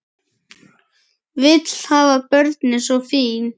Vill hafa börnin svo fín.